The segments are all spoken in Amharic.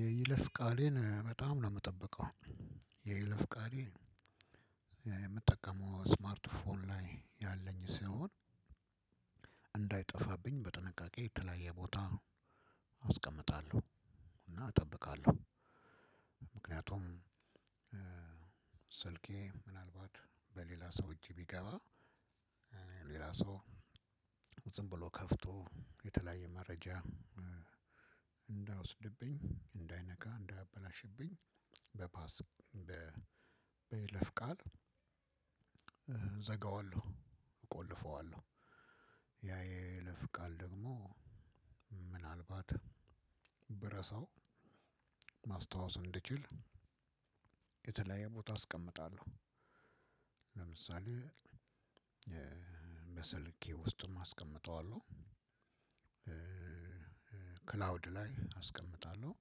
የይለፍ ቃሌን በጣም ነው የምጠብቀው። የይለፍ ቃሌ የምጠቀመው ስማርት ፎን ላይ ያለኝ ሲሆን እንዳይጠፋብኝ በጥንቃቄ የተለያየ ቦታ አስቀምጣለሁ። እና እጠብቃለሁ። ምክንያቱም ስልኬ ምናልባት በሌላ ሰው እጅ ቢገባ ሌላ ሰው ዝም ብሎ ከፍቶ የተለያየ መረጃ እንዳይወስድብኝ እንዳይነካ እንዳያበላሽብኝ። በፓስ በይለፍ ቃል እዘጋዋለሁ እቆልፈዋለሁ። ያ ይለፍ ቃል ደግሞ ምናልባት ብረሳው ማስታወስ እንድችል የተለየ ቦታ አስቀምጣለሁ። ለምሳሌ በሰልኬ ውስጥም አስቀምጠዋለሁ። ክላውድ ላይ አስቀምጣለሁ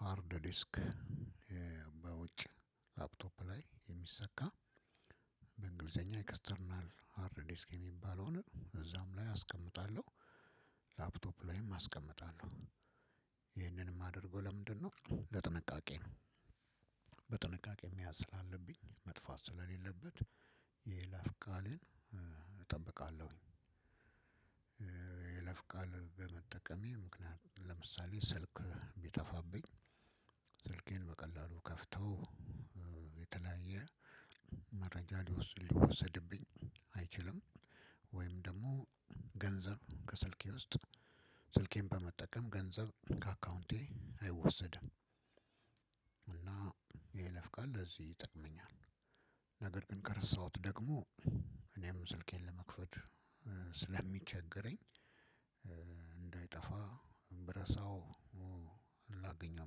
ሃርድ ዲስክ በውጭ ላፕቶፕ ላይ የሚሰካ በእንግሊዘኛ ኤክስተርናል አርዲስክ የሚባል ላይ እዛም ላይ አስቀምጣለሁ። ላፕቶፕ ላይም አስቀምጣለሁ። ይህንን ማደርገው ለምንድ ነው? ለጥንቃቄ ነው በጥንቃቄ መያዝ ስላለብኝ መጥፋት ስለሌለበት የይላፍ ቃሌን እጠብቃለሁ። ይለፍቃል በመጠቀሜ ምክንያት ለምሳሌ ስልክ ቢጠፋብኝ ስልኬን በቀላሉ ከፍተው የተለያየ መረጃ ሊወሰድብኝ አይችልም ወይም ደግሞ ገንዘብ ከስልኬ ውስጥ ስልኬን በመጠቀም ገንዘብ ከአካውንቴ አይወሰድም። እና የይለፍ ቃል ለዚህ ይጠቅመኛል። ነገር ግን ከረሳሁት ደግሞ እኔም ስልኬን ለመክፈት ስለሚቸገረኝ እንዳይጠፋ ብራሳው ላገኘው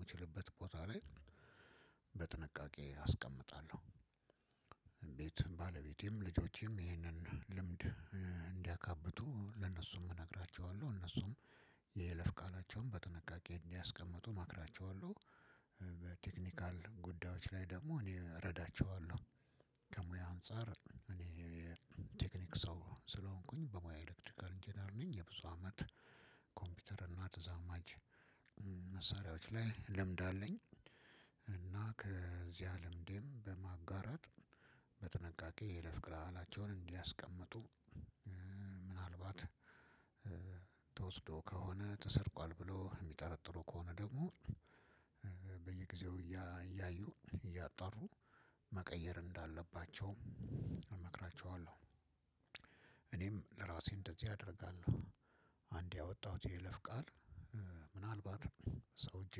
ምችልበት ቦታ ላይ በጥንቃቄ አስቀምጣለሁ። ቤት ባለቤቴም ልጆቼም ይህንን ልምድ እንዲያካብቱ ለነሱም እነግራቸዋለሁ እነሱም የለፍ ቃላቸውን በጥንቃቄ እንዲያስቀምጡ እመክራቸዋለሁ። በቴክኒካል ጉዳዮች ላይ ደግሞ እኔ እረዳቸዋለሁ። ከሙያ አንፃር እኔ የቴክኒክ ሰው ስለሆንኩኝ በሙያ ኤሌክትሪካል ኢንጂነር ነኝ የብዙ አመት ኮምፒውተር እና ተዛማጅ መሳሪያዎች ላይ ልምድ አለኝ። እና ከዚያ ልምዴም በማጋራት በጥንቃቄ የይለፍ ቃላቸውን እንዲያስቀምጡ ምናልባት ተወስዶ ከሆነ ተሰርቋል ብሎ የሚጠረጥሩ ከሆነ ደግሞ በየጊዜው እያዩ እያጣሩ መቀየር እንዳለባቸውም እመክራቸዋለሁ። እኔም ለራሴ እንደዚህ አደርጋለሁ። አንዴ ያወጣሁት የይለፍ ቃል ምናልባት ሰው እጅ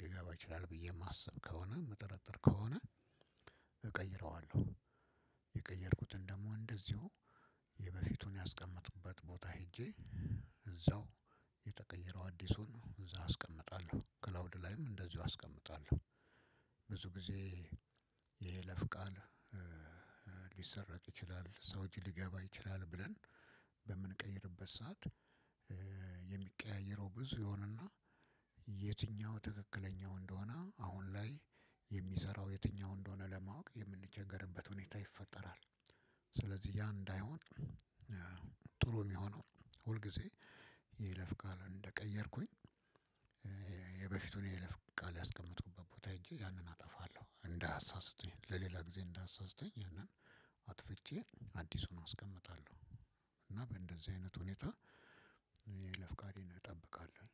ሊገባ ይችላል ብዬ የማስብ ከሆነ የምጠረጥር ከሆነ እቀይረዋለሁ። የቀየርኩትን ደግሞ እንደዚሁ የበፊቱን ያስቀመጥኩበት ቦታ ሄጄ እዛው የተቀየረው አዲሱን እዛ አስቀምጣለሁ ክላውድ ላይም እንደዚሁ አስቀምጣለሁ። ብዙ ጊዜ የይለፍ ቃል ሊሰረቅ ይችላል ሰው እጅ ሊገባ ይችላል ብለን በምንቀይርበት ሰዓት የሚቀያየረው ብዙ የሆነና የትኛው ትክክለኛው እንደሆነ አሁን ላይ የሚሰራው የትኛው እንደሆነ ለማወቅ የምንቸገርበት ሁኔታ ይፈጠራል። ስለዚህ ያ እንዳይሆን ጥሩ የሚሆነው ሁል ጊዜ የይለፍ ቃል እንደቀየርኩኝ የበፊቱን የይለፍ ቃል ያስቀመጥኩበት ቦታ ሄጄ ያንን አጠፋለሁ እንዳያሳስተኝ ለሌላ ግዜ እንዳያሳስተኝ ያንን አጥፍቼ አዲሱን አስቀምጣለሁ። እና በእንደዚህ አይነት ሁኔታ የይለፍ ቃሌን እጠብቃለው።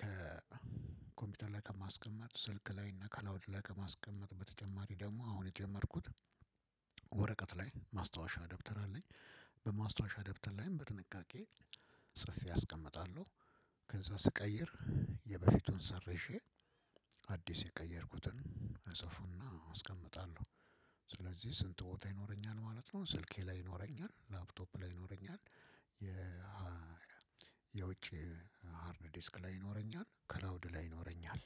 ከኮምፒውተር ላይ ከማስቀመጥ ስልክ ላይ እና ከላውድ ላይ ከማስቀመጥ በተጨማሪ ደግሞ አሁን የጀመርኩት ወረቀት ላይ ማስታወሻ ደብተር አለኝ። በማስታወሻ ደብተር ላይም በጥንቃቄ ጽፌ አስቀምጣለሁ። ከዛ ስቀይር የበፊቱን ሰርዤአዲስ የቀየርኩትን እጽፍና አስቀምጣለሁ። ስለዚህ ስንት ቦታ ይኖረኛል ማለት ነው። ስልኬ ላይ ይኖረኛል ላፕቶፕ ላይ ይኖረኛል የ የውጪ ሃርድ ዲስክ ላይ ይኖረኛል ክላውድ ላይ ይኖረኛል።